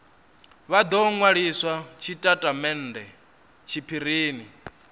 vha do nwalisa tshitatamennde tshiphirini